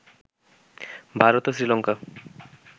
ভারত ও শ্রীলংকা